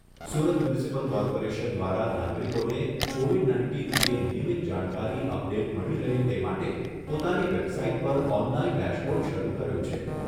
Surat municipal corporation દ્વારા નાગરિકોને Covid nineteen અંગે નિયમીત જાણકારી અપડેટ મળી રહે તે માટે પોતાની વેબસાઇટ પર ઓનલાઈન ડેશબોર્ડ શરૂ કર્યું છે.